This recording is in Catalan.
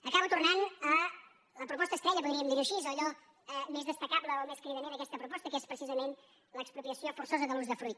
acabo tornant a la proposta estrella podríem dir·ho així a allò més destacable o més cridaner d’aquesta proposta que és precisament l’expropiació forçosa de l’usdefruit